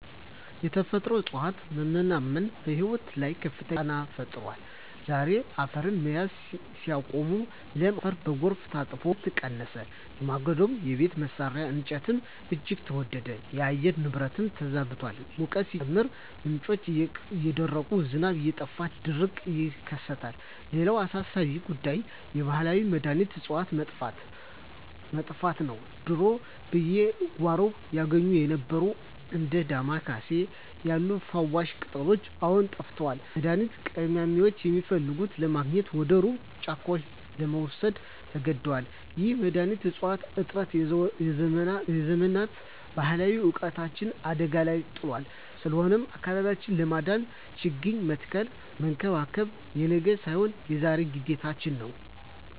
የተፈጥሮ እፅዋት መመናመን በሕይወታችን ላይ ከፍተኛ ጫና ፈጥሯል። ዛፎች አፈርን መያዝ ሲያቆሙ፣ ለም አፈር በጎርፍ ታጥቦ ምርት ቀነሰ፤ የማገዶና የቤት መስሪያ እንጨትም እጅግ ተወደደ። የአየር ንብረቱም ተዛብቷል፤ ሙቀቱ ሲጨምር፣ ምንጮች እየደረቁና ዝናብ እየጠፋ ድርቅን ያስከትላል። ሌላው አሳሳቢ ጉዳይ የባህላዊ መድኃኒት እፅዋት መጥፋት ነው። ድሮ በየጓሮው ይገኙ የነበሩት እንደ ዳማ ኬሴ ያሉ ፈዋሽ ቅጠላቅጠሎች አሁን ጠፍተዋል፤ መድኃኒት ቀማሚዎችም የሚፈልጉትን ለማግኘት ወደ ሩቅ ጫካዎች ለመሰደድ ተገደዋል። ይህ የመድኃኒት እፅዋት እጥረት የዘመናት ባህላዊ እውቀታችንን አደጋ ላይ ጥሎታል። ስለሆነም አካባቢውን ለማዳን ችግኝ መትከልና መንከባከብ የነገ ሳይሆን የዛሬ ግዴታችን ነው።